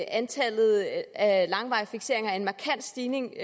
antallet af langvarige fikseringer er i en markant stigning